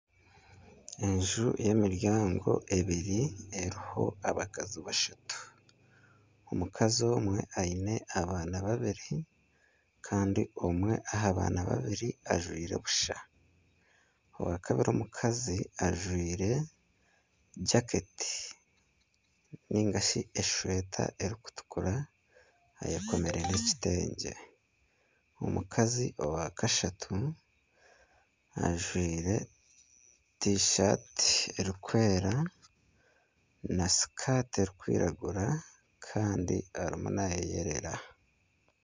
Enju y'emiryango ebiri eriho abakazi bashatu omukazi omwe aine abaana babiri kandi omwe aha baana babiri ajwaire busha ow'akabiri omukazi ajwaire jaketi ningashi esweeta erikutukura ayekomire nana ekitengye omukazi owakashatu ajwaire tishaati erikwera na sikaati erikwiragura kandi arimu naayeyerera.